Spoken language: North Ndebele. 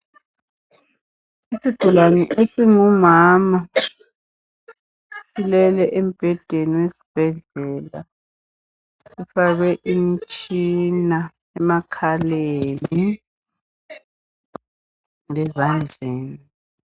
Isigulane esingumama silele embhedeni wesbhedlela sifakwe imitshina emakhaleni lezandleni .